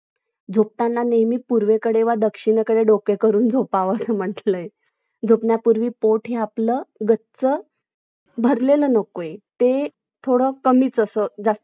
काय अडचण नाही. तीनचं तीन number उलटं चांगलं आहे ना तीन number च call आले असतील ना तुम्हाला franchise ची